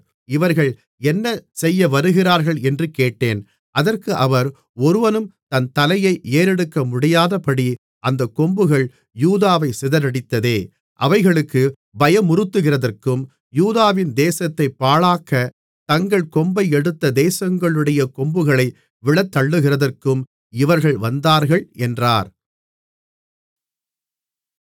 இவர்கள் என்ன செய்ய வருகிறார்களென்று கேட்டேன் அதற்கு அவர் ஒருவனும் தன் தலையை ஏறெடுக்கமுடியாதபடி அந்தக் கொம்புகள் யூதாவைச் சிதறடித்ததே அவைகளுக்குப் பயமுறுத்துகிறதற்கும் யூதாவின் தேசத்தைப் பாழாக்கத் தங்கள் கொம்பை எடுத்த தேசங்களுடைய கொம்புகளை விழத்தள்ளுகிறதற்கும் இவர்கள் வந்தார்கள் என்றார்